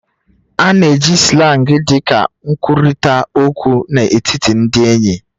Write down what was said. A na-eji Slang dị ka nkwurịta okwu n'etiti ndị enyi